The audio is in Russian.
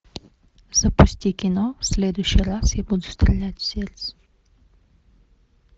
запусти кино в следующий раз я буду стрелять в сердце